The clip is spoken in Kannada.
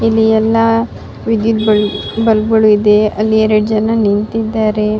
ಇಲ್ಲಿ ಎಲ್ಲ ವಿದ್ಯುತ್ ಬಲ್ಪ್ ಗಳು ಇದೆ ಅಲ್ಲಿ ಎರಡ್ ಜನ ನಿಂತಿದ್ದಾರೆ.